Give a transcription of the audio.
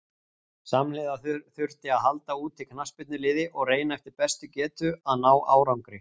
Samhliða þurfti að halda úti knattspyrnuliði og reyna eftir bestu getu að ná árangri.